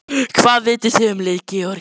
Hvað vitið þið um lið Georgíu?